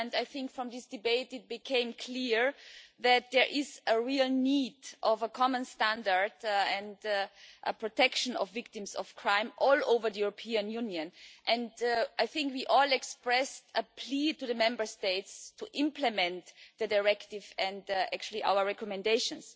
I think from this debate it became clear that there is a real need for a common standard and a protection for victims of crime all over the European Union. I think we all expressed a plea to the Member States to implement the directive and our recommendations.